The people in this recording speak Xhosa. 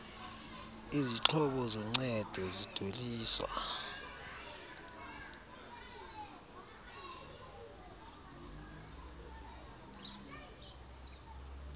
izixhobo zoncedo zidweliswa